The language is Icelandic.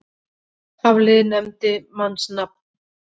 Hafliði nefndi mannsnafn.